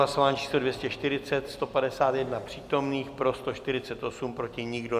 Hlasování číslo 240, 151 přítomných, pro 148, proti nikdo.